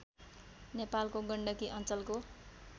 नेपालको गण्डकी अञ्चलको